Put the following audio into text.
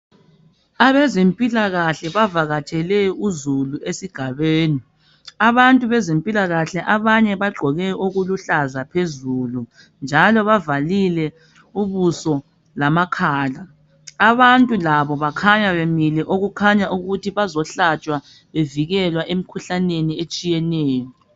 Abezimpilakahle bavakatshele uzulu esigabeni , abantu bezimpilakahle abanye bagqoke okuluhlaza phezulu njalo bavalile ubuso lamakhala ,abantu labo bakhanya bamile okukhanya ukuthi bazohlatshwa bevikelwa emikhuhlaneni etshiyeneyo.